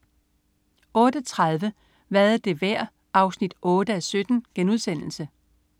08.30 Hvad er det værd? 8:17*